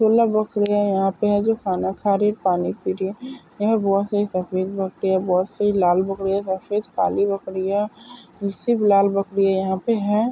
बाखरिया है यहा पे जो खाना खा रही है। पानी पी रही है। यहा बोहोत सारे सफ़ेद बकरिया बहुत सारे लाल बकरिया सफ़ेद-काली बकरिया जो सिर्फ लाल बकरिया यहा पे है।